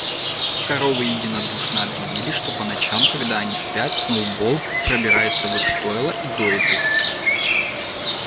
коровы единодушно объявили что по ночам когда они спят сноуболл пробирается в их стойла и доит их